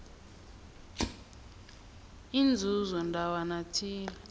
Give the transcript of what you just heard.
inzuzo ndawana thile